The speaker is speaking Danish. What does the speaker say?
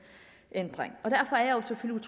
ændring og derfor er jeg selvfølgelig